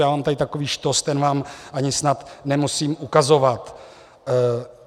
Já mám tady takový štos, ten vám ani snad nemusím ukazovat.